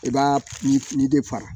I b'a ni ni de fara